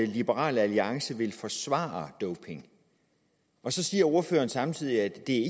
liberal alliance vil forsvare doping og så siger ordføreren samtidig at det